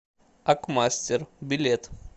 акмастер билет